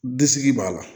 Disi b'a la